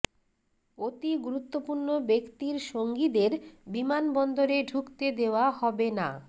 অতি গুরুত্বপূর্ণ ব্যক্তির সঙ্গীদের বিমানবন্দরে ঢুকতে দেওয়া হবে না